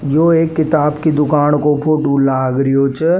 यो एक किताब कि दुकान को फोटो लाग रियो छे।